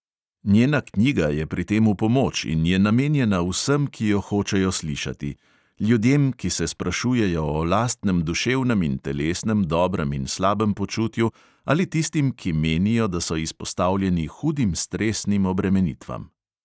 Njena knjiga je pri tem v pomoč in je namenjena vsem, ki jo hočejo slišati: ljudem, ki se sprašujejo o lastnem duševnem in telesnem dobrem in slabem počutju, ali tistim, ki menijo, da so izpostavljeni hudim stresnim obremenitvam.